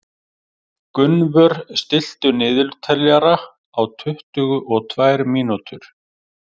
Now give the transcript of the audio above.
Gunnvör, stilltu niðurteljara á tuttugu og tvær mínútur.